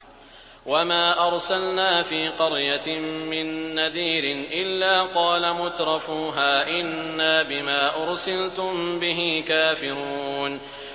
وَمَا أَرْسَلْنَا فِي قَرْيَةٍ مِّن نَّذِيرٍ إِلَّا قَالَ مُتْرَفُوهَا إِنَّا بِمَا أُرْسِلْتُم بِهِ كَافِرُونَ